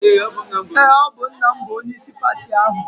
Eé, ọ bụ nna m bụ onyeisi pati ahụ.